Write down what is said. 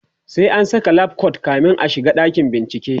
sai an Saka lab coat kamin a shiga dakin bincike